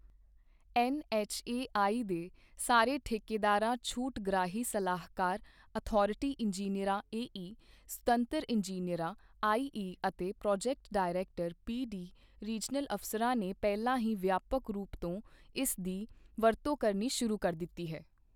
NHAI ਦੇ ਸਾਰੇ ਠੇਕੇਦਾਰਾਂ ਛੂਟਗ੍ਰਾਹੀ ਸਲਾਹਕਾਰ ਅਥਾਰਿਟੀ ਇੰਜੀਨੀਅਰਾਂ ਏਈ ਸੁਤੰਤਰ ਇੰਜੀਨੀਅਰਾਂ ਆਈਈ ਅਤੇ ਪ੍ਰੋਜੈਕਟ ਡਾਇਰੈਕਟਰ ਪੀਡੀ ਰੀਜਨਲ ਅਫਸਰਾਂ ਨੇ ਪਹਿਲਾਂ ਹੀ ਵਿਆਪਕ ਰੂਪ ਤੋਂ ਇਸ ਦੀ ਵਰਤੋ ਕਰਨੀ ਸ਼ੁਰੂ ਕਰ ਦਿੱਤੀ ਹੈ।